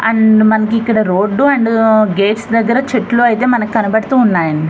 And మనకు ఇక్కడ road and gates దగ్గరా చెట్లు ఐతే మనకు కనపడుతున్నాయి.